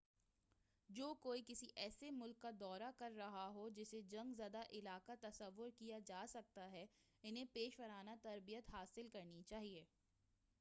جو کوئی کسی ایسے ملک کا دورہ کر رہا ہو جسے جنگ زدہ علاقہ تصور کیا جاسکتا ہے انہیں پیشہ ورانہ تربیت حاصل کرنی چاہئے